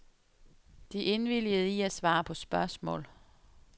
De indvilgede i at svare på spørgsmål.